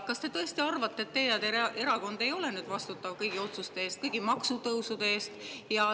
Kas te tõesti arvate, et teie erakond ei ole vastutav kõigi otsuste eest, kõigi maksutõusude eest?